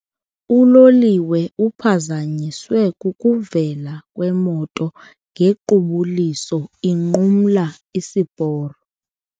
Uloliwe uphazanyiswe kukuvela kwemoto ngequbuliso inqumla isiporo.